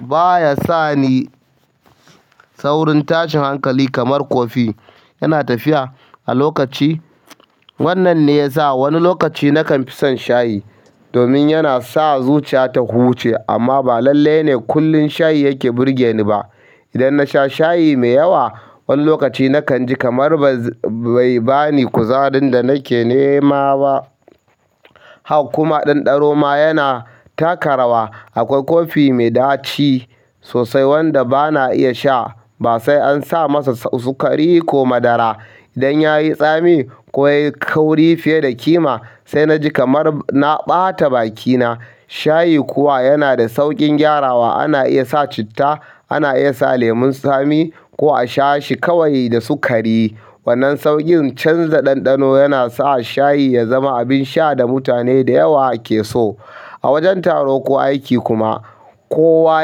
Ba ya sa ni saurin tashin hankali kamar kofi. Yana tafiya a lokaci. Wannan ne yasa wani lokaci nakan fi son shayi domin yana sa zuciya ta huce amma ba lallai ne kullum shayi yake burge ni ba. Idan na sha shayi mai yawa, wani lokaci nakan ji kamar bai bani kuzarin da nake nema ba. Hak kuma ɗanɗano ma yana taka rawa. Akwai kofi mai ɗaci sosai wanda ba na iya sha ba sai an sa masa sukari ko madara. Idan ya yi tsami ko ya yi kauri fiye da ƙima sai na ji kamar na ɓata bakina. Shayi kuwa yana da sauƙin gyarawa. Ana iya sa citta, ana iya sa lemun tsami ko a sha shi kawai da sukari. Wannan sauƙin canza ɗanɗano yana sa shayi ya zama abin sha da mutane da yawa ke so. A wajen taro ko aiki kuma kowa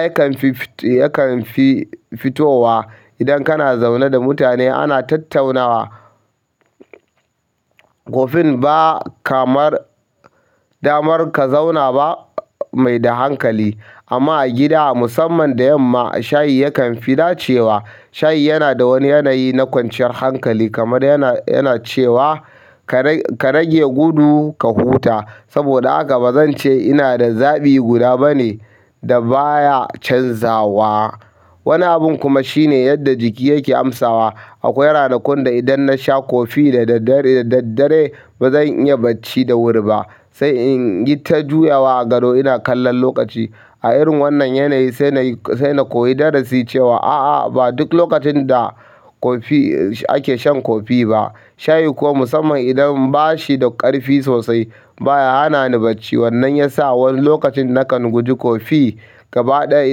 yakan fi fitowa. Idan kana zaune da mutane ana tattaunawa, kofin ba kamar damar ka zauna ba mai da hankali. Amma a gida musamman da yamma shayi yakan fi dacewa. Shayi yana da wani yanayi na kwanciyar hankali kamar yana cewa ka rage gudu ka huta. Saboda haka ba zan ce yana da zaɓi guda bane da baya canzawa. Wani abun kuma shine yadda jiki yake amsawa akwai ranakun da idan nasha kofi da daddare ba zan iya bacci da wuri ba sai in yi ta juyawa a gado ina kallon lokaci. A irin wannan yanayi sai na koyi darasi cewa a'a ba duk lokacin da ake shan kofi ba. Shayi kuma musamman idan ba shi da ƙarfi sosai baya hana ni bacci. Wannan yasa wani lokacin nakan guji kofi gaba ɗaya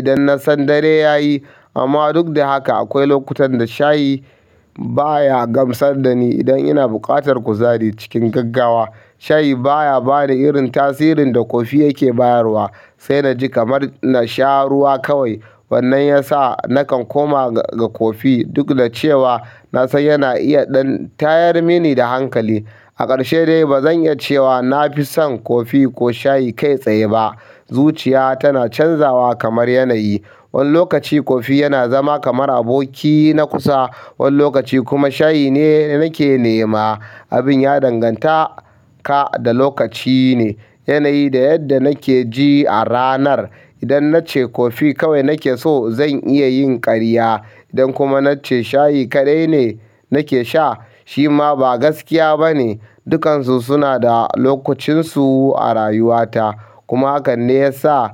idan na san dare ya yi. Amma duk da haka akwai lokutan da shayi baya gamsar da ni idan ina buƙatar kuzari cikin gaggawa. Shayi baya bani irin tasirin da kofi yake bayarwa. Sai na ji kamar na sha ruwa kawai. Wannan yasa nakan koma ga kofi duk da cewa na san yana iya ɗan tayar mini da hankali. A ƙarshe dai ba zan iya cewa na fi son kofi ko shayi kai tsaye ba. Zuciya tana canzawa kamar yanayi. Wani lokaci kofi yana zama kamar aboki na kusa, wani lokaci kuma shayi ne nake nema. Abin ya danganta ka da lokaci ne, yanayi da yadda nake ji a ranar. Idan na ce kofi kawai nake so zan iya yin ƙarya. Idan kuma na ce shayi kaɗai ne nake sha shi ma ba gaskiya bane. Dukansu suna da lokucinsu a rayuwata. Kuma haka ne yasa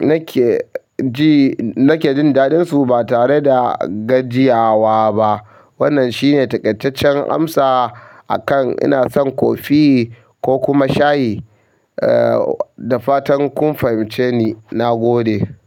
nake jin da ɗin su ba tare da gajiyawa ba wannan shine takaitaccen amsa a kan ina san kofi ko kuma shayi. Da fatan kun fahimce ni. Na gode.